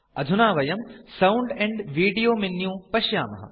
अधुना वयं sound and video menu पश्यामः